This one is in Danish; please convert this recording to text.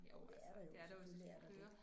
Det er der jo selvfølgelig er der det